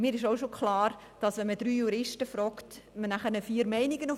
Mir ist auch klar, dass man vier Meinungen auf dem Tisch hat, wenn man drei Juristen fragt.